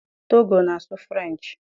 Togo na-asụ French.